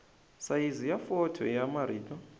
sayizi ya fonto ya marito